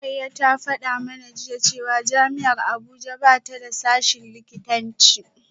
Rukayyah ta fada mana jiya cewa jami’ar Abuja ba ta da sashen likitanci